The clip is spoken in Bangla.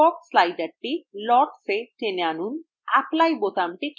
fog slider lotsএ টেনে আনুন এবং apply বোতামটি click করুন